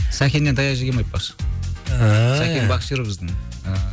сәкеннен таяқ жегенмін айтпақшы ыыы сәкен боксер біздің ыыы